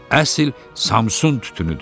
Əsl Samsun tütünüdür.